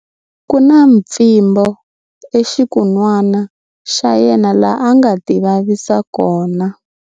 Ku na mpfimbo exikun'wana xa yena laha a nga tivavisa kona.